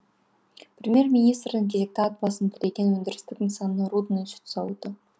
премьер министрдің кезекті ат басын тіреген өндірістік нысаны рудный сүт зауыты